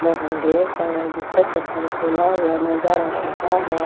बाहर ढेर सारा जूता चप्पल खोल हुआ नजर आ रहा है।